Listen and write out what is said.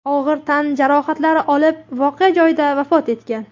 og‘ir tan jarohatlari olib voqea joyida vafot etgan.